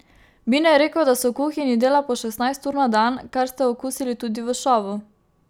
Bine je rekel, da se v kuhinji dela po šestnajst ur na dan, kar ste okusili tudi v šovu.